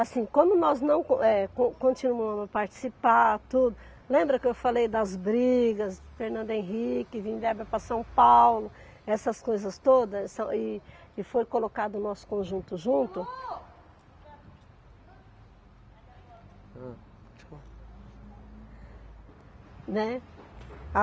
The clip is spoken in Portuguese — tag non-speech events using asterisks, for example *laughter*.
Assim, como nós não com, eh, continuamos a participar, tudo... Lembra que eu falei das brigas, Fernando Henrique, vim verba para São Paulo, essas coisas todas, essa e e foi colocado o nosso conjunto junto? (som externo) ham. *unintelligible* né.